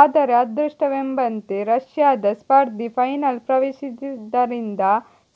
ಆದರೆ ಅದೃಷ್ಟವೆಂಬಂತೆ ರಷ್ಯಾದ ಸ್ಪರ್ಧಿ ಫೈನಲ್ ಪ್ರವೇಶಿಸಿದ್ದರಿಂದ